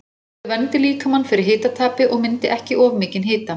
Að þau verndi líkamann fyrir hitatapi og myndi ekki of mikinn hita.